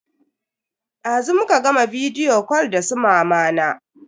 Dazu muka gama bidiyo kal da su mamana.